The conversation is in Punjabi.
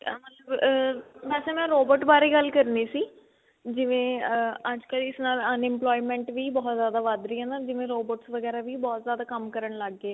ਮਤਲਬ ਅਮ ਵੇਸੇ ਮੈਂ robot ਬਾਰੇ ਗੱਲ ਕਰਨੀ ਸੀ ਜਿਵੇਂ ਅਹ ਅੱਜਕਲ ਇਸ ਨਾਲ unemployment ਵੀ ਬਹੁਤ ਜਿਆਦਾ ਵੱਧ ਰਹੀ ਹੈ ਨਾ ਜਿਵੇਂ robots ਵਗੇਰਾ ਵੀ ਬਹੁਤ ਜਿਆਦਾ ਕੰਮ ਕਰਨ ਲੱਗ ਗੇ